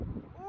O, o!